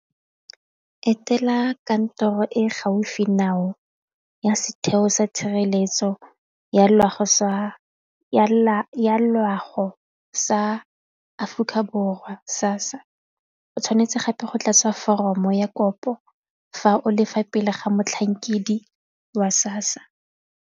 Etela kantoro e gaufi ya setheo sa tshireletso ya loago sa Aforika Borwa SASSA o tshwanetse gape go tlatsa foromo ya kopo fa o lefa pele ga motlhankedi wa SASSA.